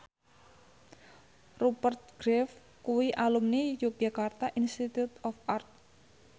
Rupert Graves kuwi alumni Yogyakarta Institute of Art